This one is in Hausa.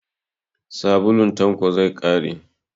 Sabulun Tanko zai ƙare.